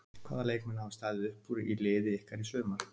Hvaða leikmenn hafa staðið upp úr í liði ykkar í sumar?